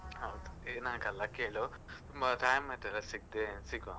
ಹೌದು ಏನಾಗಲ್ಲ ಕೇಳು ತುಂಬ time ಆಯ್ತಲ್ಲ ಸಿಗ್ದೆ, ಸಿಗುವ.